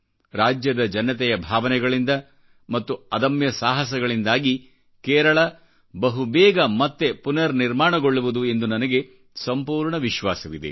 ರಾಜ್ಯದ ಜನತೆಯ ಭಾವನೆಗಳಿಂದ ಮತ್ತು ಅದಮ್ಯಸಾಹಸದಿಂದಾಗಿ ಕೇರಳ ಬಹುಬೇಗ ಮತ್ತೆ ಪುನರ್ ನಿರ್ಮಾಣಗೊಳ್ಳುವುದು ಎಂದು ನನಗೆ ಸಂಪೂರ್ಣ ವಿಶ್ವಾಸವಿದೆ